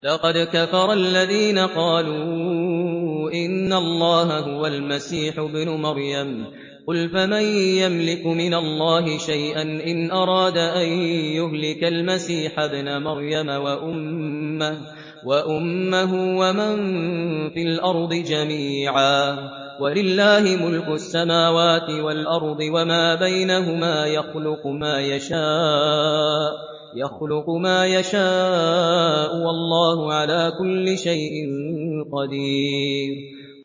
لَّقَدْ كَفَرَ الَّذِينَ قَالُوا إِنَّ اللَّهَ هُوَ الْمَسِيحُ ابْنُ مَرْيَمَ ۚ قُلْ فَمَن يَمْلِكُ مِنَ اللَّهِ شَيْئًا إِنْ أَرَادَ أَن يُهْلِكَ الْمَسِيحَ ابْنَ مَرْيَمَ وَأُمَّهُ وَمَن فِي الْأَرْضِ جَمِيعًا ۗ وَلِلَّهِ مُلْكُ السَّمَاوَاتِ وَالْأَرْضِ وَمَا بَيْنَهُمَا ۚ يَخْلُقُ مَا يَشَاءُ ۚ وَاللَّهُ عَلَىٰ كُلِّ شَيْءٍ قَدِيرٌ